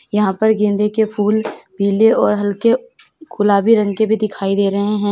यहां पर गेंदे के फूल पीले और हल्के गुलाबी रंग के भी दिखाई दे रहे हैं।